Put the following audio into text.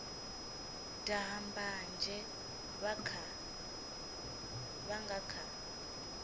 daha mbanzhe vha nga kha